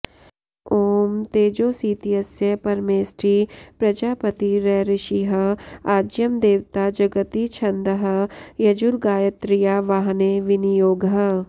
ॐ तेजोसीत्यस्य परमेष्ठी प्रजापतिरृषिः आज्यं देवता जगती छन्दः यजुर्गायत्र्यावाहने विनियोगः